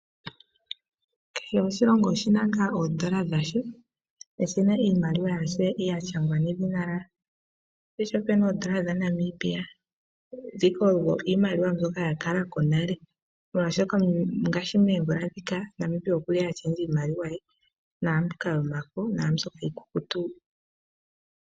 Kehe oshilongo oshi na ngaa iimaliwa yasho, shi na iimaliwa ya shangwa edhina lyawo. Opu na oodola dhaNamibia. Mbika oyo iimaliwa ya kala ko nale, molwashoka ngaashi moomvula ndhika Namibia okwa lundulula iimaliwa ye yomafo niikukutu.